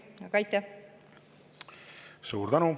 Suur tänu!